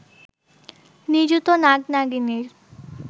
নিযুত নাগ-নাগিনীর